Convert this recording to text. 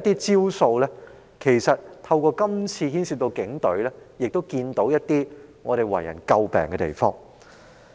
一些招數，因是次牽涉警隊問題而為人所見的可以詬病之處。